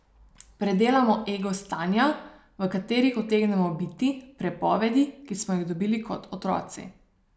Predelamo ego stanja, v katerih utegnemo biti, prepovedi, ki smo jih dobili kot otroci.